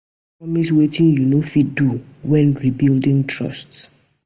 No promise wetin yu no fit do wen rebuilding trust.